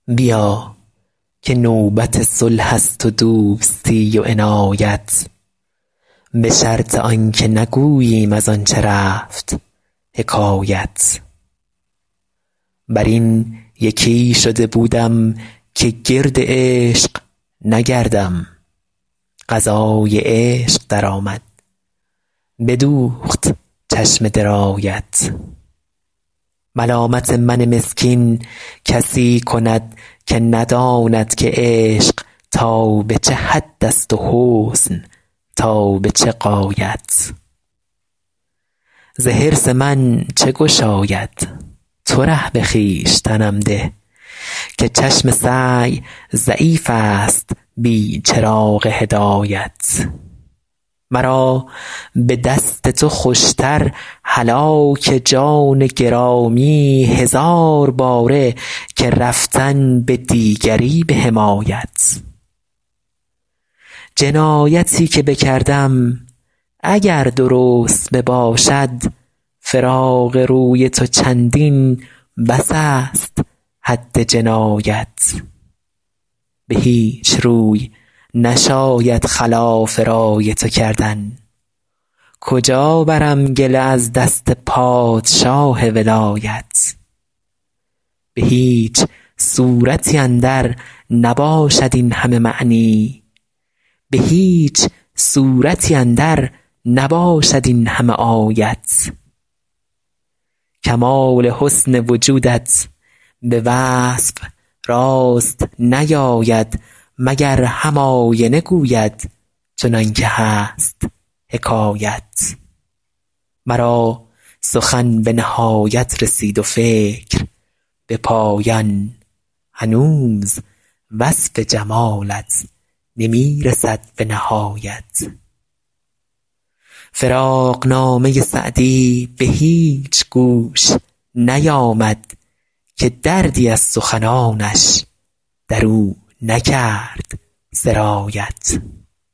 بیا که نوبت صلح است و دوستی و عنایت به شرط آن که نگوییم از آن چه رفت حکایت بر این یکی شده بودم که گرد عشق نگردم قضای عشق درآمد بدوخت چشم درایت ملامت من مسکین کسی کند که نداند که عشق تا به چه حد است و حسن تا به چه غایت ز حرص من چه گشاید تو ره به خویشتنم ده که چشم سعی ضعیف است بی چراغ هدایت مرا به دست تو خوش تر هلاک جان گرامی هزار باره که رفتن به دیگری به حمایت جنایتی که بکردم اگر درست بباشد فراق روی تو چندین بس است حد جنایت به هیچ روی نشاید خلاف رای تو کردن کجا برم گله از دست پادشاه ولایت به هیچ صورتی اندر نباشد این همه معنی به هیچ سورتی اندر نباشد این همه آیت کمال حسن وجودت به وصف راست نیاید مگر هم آینه گوید چنان که هست حکایت مرا سخن به نهایت رسید و فکر به پایان هنوز وصف جمالت نمی رسد به نهایت فراقنامه سعدی به هیچ گوش نیامد که دردی از سخنانش در او نکرد سرایت